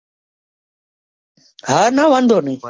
હા ના, વાંધો નહીં.